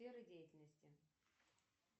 сфера деятельности